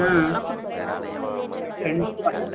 ஹம் கண்டிப்பா